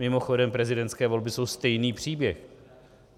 Mimochodem prezidentské volby jsou stejný příběh.